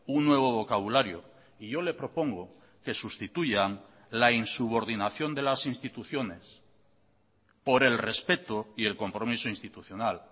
un nuevo vocabulario y yo le propongo que sustituyan la insubordinación de las instituciones por el respeto y el compromiso institucional